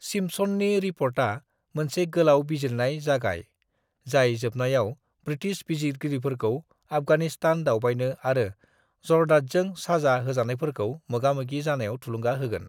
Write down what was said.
"सिम्पसननि रिप'र्टआ मोनसे गोलाव बिजिरनाय जागाय, जाय जोबनायाव ब्रिटिश बिजिरगिरिफोरखौ आफगानिस्तान दावबायनो आरो जरदादजों साजा होजानायफोरजों मोगामोगि जानायाव थुलुंगा होगोन।"